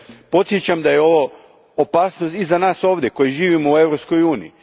Podsjećam da je ovo opasnost i za nas koji živimo u Europskoj uniji.